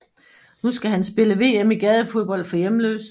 Nu skal han spille VM i gadefodbold for hjemløse